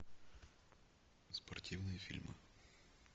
спортивные фильмы